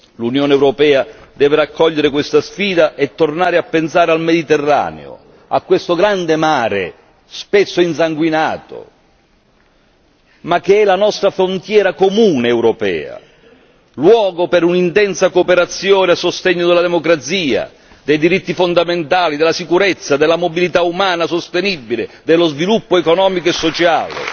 L'Unione europea deve raccogliere questa sfida e tornare a pensare al Mediterraneo, a questo grande mare spesso insanguinato, ma che è la nostra frontiera comune europea, luogo per un'intensa cooperazione a sostegno della democrazia, dei diritti fondamentali, della sicurezza, della mobilità umana sostenibile, dello sviluppo economico e sociale.